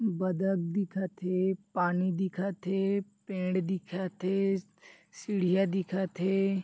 बदक दिखत हे पानी दिखत हे पेड़ दिखत हे सीढिया दिखत हे।